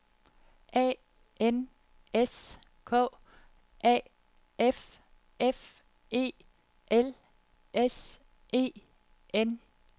A N S K A F F E L S E N